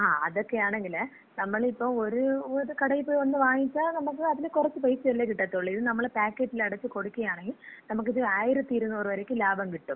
ങാ, അതൊക്കെയാണങ്കില്, നമ്മളിപ്പ ഒരു കടയിപ്പോയി ഒന്ന് വാങ്ങിച്ചാ നമക്ക് അതില് കൊറച്ച് പൈസേല്ലേ കിട്ടത്തൊള്ളൂ. ഇത് നമ്മള് പാക്കറ്റിലടച്ച് കൊടുക്കയാണങ്കി നമുക്കിത് 1200 വരെക്കും ലാഭം കിട്ടും.